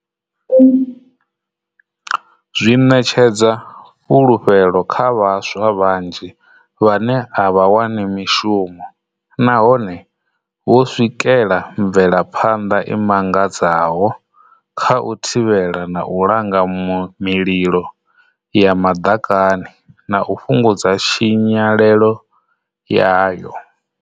Zwi ṋetshedza fhulufhelo kha vhaswa vhanzhi vhane a vha wani mishumo nahone vho swikela mvelaphanḓa i mangadzaho kha u thivhela na u langa mililo ya maḓakani, na u fhungudza tshinyalelo yayo.